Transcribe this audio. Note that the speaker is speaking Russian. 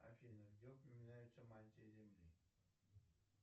афина где упоминается мантия земли